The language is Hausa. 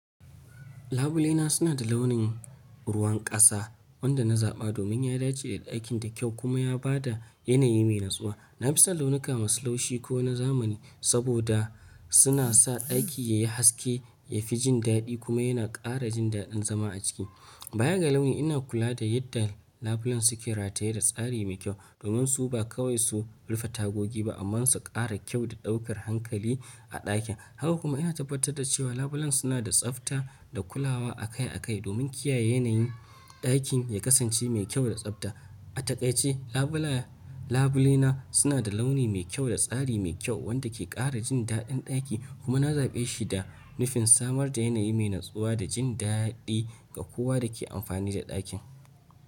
Labule na suna da launin ruwan ƙasa, wanda na zaɓa domin ya dace da ɗakin da kyau, kuma ya ba da yanayi mai natsuwa. Na fi son launuka masu laushi ko na zamani, saboda suna sa ɗaki ya yi haske, ya fi jin daɗi kuma yana ƙara jin daɗin zama a ciki. Bayan ga launi, ina kula da yadda labulen suke rataye da tsari mai kyau. Domin su ba kawai su rufe tagogi ba, amma su ƙara kyau da ɗaukar hankali a ɗakin. Haka kuma ina tabbatar da cewa labulen suna da tsafta, da kulawa akai akai domin kiyaye yanayin ɗakin, ya kasance mai kyau da tsafta. A taƙaice, labulayen, labule na suna da launi mai kyau da tsari mai kyau, wanda ke ƙara jin daɗin ɗakin, kuma na zaɓe shi da nufin samar da yanayi mai natsuwa da jin daɗi, ga kowa da ke amfani da ɗakin.